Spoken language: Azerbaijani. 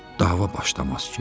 dava başlamaz ki?